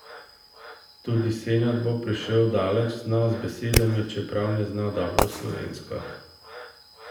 Tudi Senad bo prišel daleč, zna z besedami, čeprav ne zna dobro slovensko.